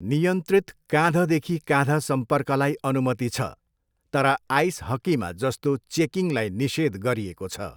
नियन्त्रित काँधदेखि काँध सम्पर्कलाई अनुमति छ, तर आइस हक्कीमा जस्तो चेकिङलाई निषेध गरिएको छ।